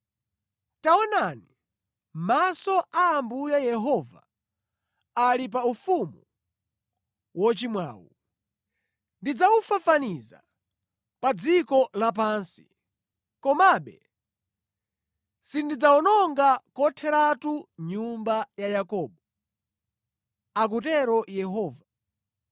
“Taonani, maso a Ambuye Yehova ali pa ufumu wochimwawu. Ndidzawufafaniza pa dziko lapansi. Komabe sindidzawononga kotheratu nyumba ya Yakobo,” akutero Yehova.